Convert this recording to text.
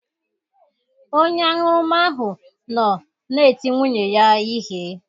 Onye aṅụrụma ahụ nọ na-eti nwunye ya ihe.